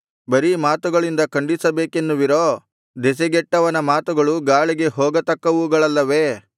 ಬರೀ ಮಾತುಗಳಿಂದ ಖಂಡಿಸಬೇಕೆನ್ನುವಿರೋ ದೆಸೆಗೆಟ್ಟವನ ಮಾತುಗಳು ಗಾಳಿಗೆ ಹೋಗತಕ್ಕವುಗಳಲ್ಲವೇ